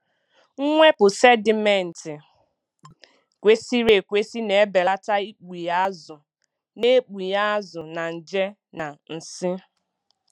Mwepụ sedimenti kwesịrị ekwesị na-ebelata ikpughe azụ na ikpughe azụ na nje na nsị.